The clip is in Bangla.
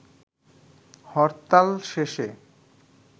হরতাল শেষে